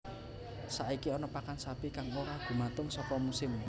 Saiki ana pakan sapi kang ora gumantung saka musim